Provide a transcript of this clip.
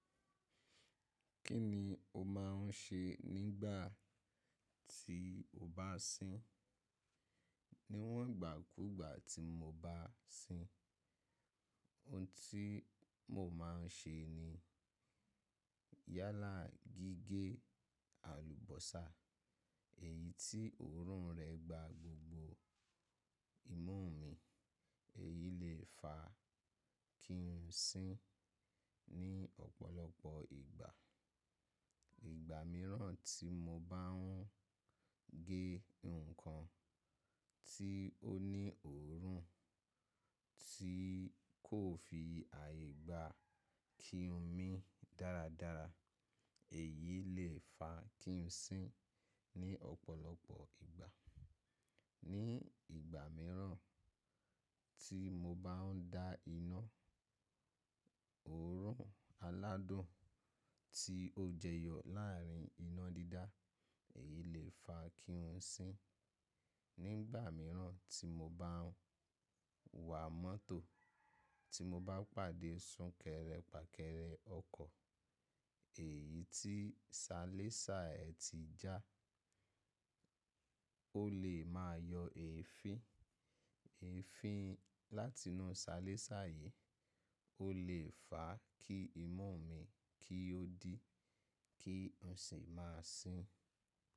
Kí ni o máà ń ṣe nígbà tí o bá ń sín? Níwọ̀n ìgbàkúgbà tí mo bá sín, ohun tí mo máa ń ṣe ni yálà gígé àlùbọ́sà èyí tí òórùn rẹ gba gbogbo imú mi, èyí lè fa kí n sín ní ọ̀pọ̀lọpọ̀ ìgbà. Ìgbà mìíràn tí mo bá ń gé nǹkan tí ó ní òórùn tí kò fi àyè gba kí n mí dáradára, èyí lè fa kí n sín ní ọ̀pọ̀lọpọ̀ ìgbà. Ní ìgbà mìíràn tí mo bá ń dá iná, òórùn aládùn tí ó jẹyọ láàrin iná dídá, èyí lè fa kí n sín. Nígbà mìíràn tí mo bá ń wà mọ́tò, tí mo bá pàdé súnkẹrẹ fàkẹrẹ ọkọ̀, èyí tí salésà ẹ ti já, ó lè máa yọ èéfín. Èéfín láti inú salésà yìí ó lè fà kí imú mi kí ó dí kí n sì má sín.